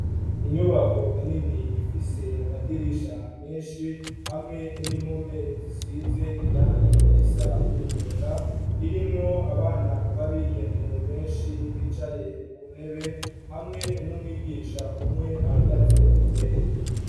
Inyubako nini ifise amadirisha menshi hamwe n'impome zisize irangi risa n'umunyota, irimwo abana b'abigeme benshi bicaye ku ntebe hamwe n'umwigisha umwe ahagaze imbere.